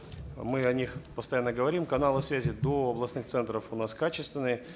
мы о них постоянно говорим каналы связи до областных центров у нас качественные